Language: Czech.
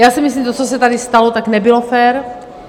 Já si myslím, že to, co se tady stalo, tak nebylo fér.